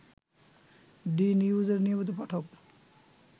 ডি-নিউজের নিয়মিত পাঠক